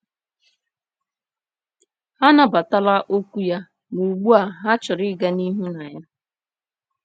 Ha anabatala okwu ya, ma ugbu a ha chọrọ ịga n’ihu na ya.